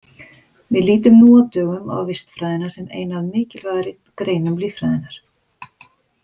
Við lítum nú á dögum á vistfræðina sem eina af mikilvægari greinum líffræðinnar.